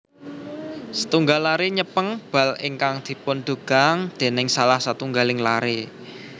Setunggal laré nyèpeng bal ingkang dipundugang déning salah satunggaling laré